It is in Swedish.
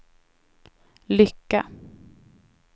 lycka